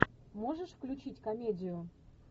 можешь включить комедию